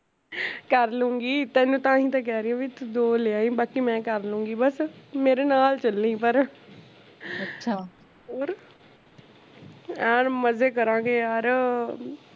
ਕਰਲੂੰਗੀ ਤੇਨੂੰ ਤਾਂਹੀਂ ਤਾਂ ਕਹਿ ਰਹੀ ਆ ਵੀ ਤੂੰ ਦੋ ਲੈ ਆਈ ਬਸ ਬਾਕੀ ਮੈਂ ਕਰਲੂੰਗੀ ਬੱਸ ਮੇਰੇ ਨਾਲ ਚਲੀ ਪਰ ਹੋਰ ਐਨੂੰ ਮਜੇ ਕਰਾਂਗੇ ਯਰ